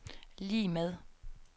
lig med